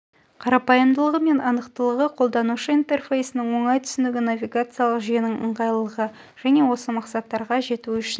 қарапайымдылығы мен анықтылығы қолданушы интерфейсінің оңай түсінігі навигациялық жүйенің ығайлылығы және осы мақсаттарға жету үшін